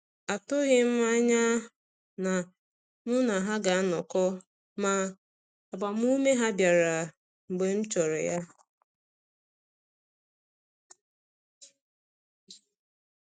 Atụghị m anya na mụ na ha ga anọkọ, ma agbamume ha bịara mgbe m chọrọ ya.